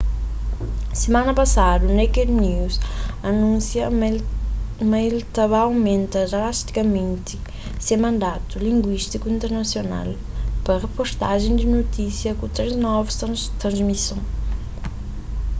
simana pasadu naked news anúnsia ma el ta ba aumenta drastikamenti se mandatu linguístiku internasional pa riportajen di notísias ku três novu transmison